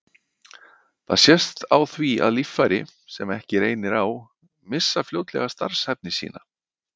Það sést á því að líffæri, sem ekki reynir á, missa fljótlega starfshæfni sína.